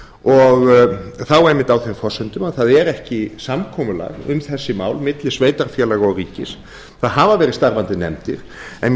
og þá einmitt á þeim forsendum að það er ekki samkomulag um þessi mál milli sveitarfélaga og ríkis það hafa verið starfandi nefndir en